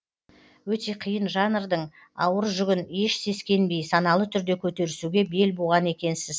өте қиын жанрдың ауыр жүгін еш сескенбей саналы түрде көтерісуге бел буған екенсіз